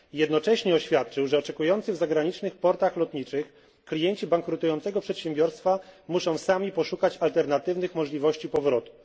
Jednocześnie oświadczył, że oczekujący w zagranicznych portach lotniczych klienci bankrutującego przedsiębiorstwa muszą sami poszukać alternatywnych możliwości powrotu.